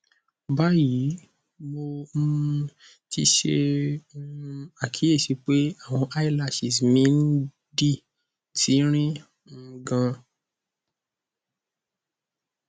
bayi mo um ti ṣe um akiyesi pe awọn eyelashes mi n di tinrin um gan